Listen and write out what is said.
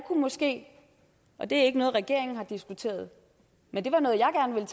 måske og det er ikke noget regeringen har diskuteret men det